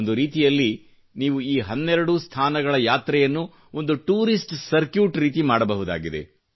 ಒಂದು ರೀತಿಯಲ್ಲಿ ನೀವು ಈ ಹನ್ನೆರಡೂ ಸ್ಥಾನಗಳ ಯಾತ್ರೆಯನ್ನು ಒಂದು ಟೂರಿಷ್ಟ ಸರ್ಕೀಟ್ ದಂತೆ ಮಾಡಬಹುದಾಗಿದೆ